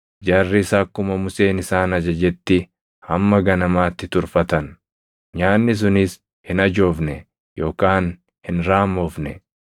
Jarris akkuma Museen isaan ajajetti hamma ganamaatti turfatan; nyaanni sunis hin ajoofne yookaan hin raammofne.